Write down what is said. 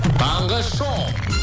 таңғы шоу